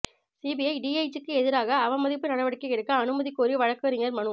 CBI டிஐஜிக்கு எதிராக அவமதிப்பு நடவடிக்கை எடுக்க அனுமதி கோரி வழக்குரைஞா் மனு